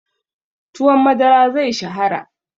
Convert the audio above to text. Tuwon madara zai shahara.